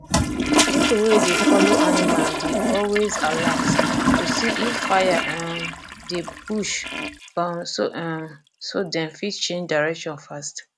people wey dey follow animal dey always alert to see if fire um dey bush um so um so dem fit change direction fast